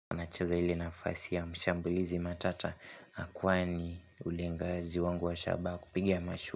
Nacheza ili nafasi ya mshambulizi matata. Akwani ulengaji wangu wa shabaha kupiga mashu.